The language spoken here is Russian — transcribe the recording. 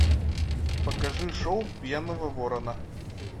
покажи шоу пьяного ворона